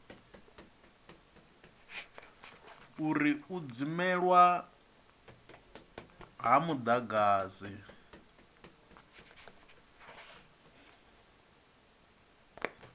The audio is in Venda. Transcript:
uri u dzimelwa ha mudagasi